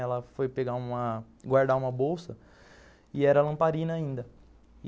Ela foi pegar, guardar uma bolsa e era lamparina ainda.